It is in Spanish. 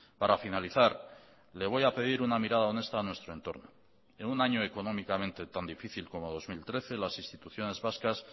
para finalizar le voy a pedir una mirada honesta a nuestro entorno en un año económicamente tan difícil como dos mil trece las instituciones vascas